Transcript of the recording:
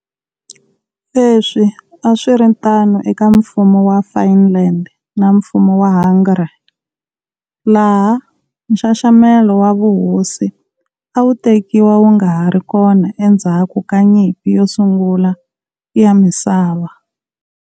Leswi a swi ri tano eka Mfumo wa Finland na Mfumo wa Hungary, laha nxaxamelo wa vuhosi a wu tekiwa wu nga ha ri kona endzhaku ka Nyimpi yo Sungula ya Misava.